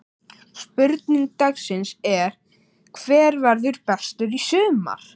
Spurning dagsins er: Hver verður bestur í sumar?